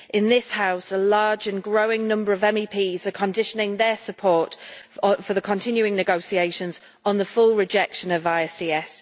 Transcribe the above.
In this House, a large and growing number of MEPs are conditioning their support for the continuing negotiations on the full rejection of ISDS.